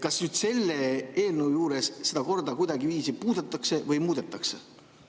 Kas selle eelnõuga seda korda kuidagiviisi puudutatakse või muudetakse?